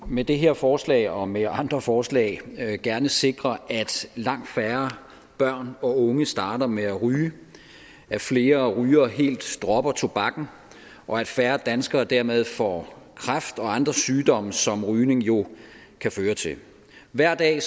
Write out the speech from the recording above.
med det her forslag og med andre forslag gerne sikre at langt færre børn og unge starter med at ryge at flere rygere helt dropper tobakken og at færre danskere dermed får kræft og andre sygdomme som rygning jo kan føre til hver dag